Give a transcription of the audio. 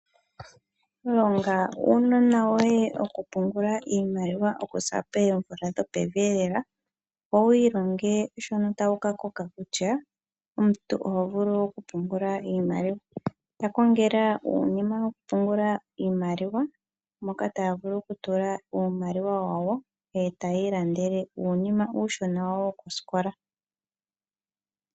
Longa uunona woye okupungula iimaliwa okuza poomvula dhopevi eelela, opo wu ilonge shono ta wu ka koka kutya omuntu oho vulu okupungula iimaliwa. Ka kongela uunima wokupungula iimaliwa, moka ta ya vulu okutula uumaliwa wawo e ta ya ilandele uunima uushona wawo wokosikola.